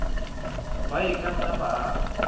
ba e ka nnang baagi